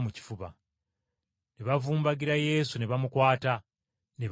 Ne bavumbagira Yesu ne bamukwata, ne bamunyweza.